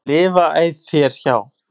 lifa æ þér hjá.